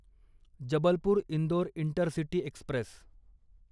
Jabalpur Indore intercity Express